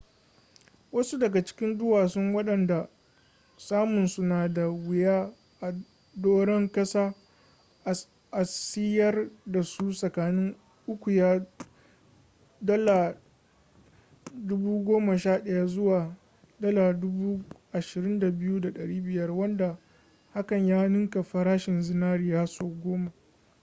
wasu daga cikin duwasun wadanda samun su na da wuya a doran kasa a siyar dasu tsakanin ukiya $11,000 zuwa $22,500 wanda haka ya ninka farashin zinari sau goma